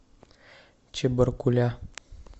чебаркуля